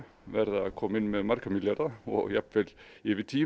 verða að koma inn með marga milljarða jafnvel yfir tíu